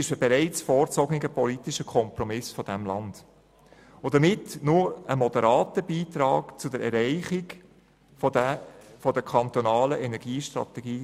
Vielmehr ist es nur ein moderater Beitrag zur Erreichung der Ziele unserer kantonalen Energiestrategie.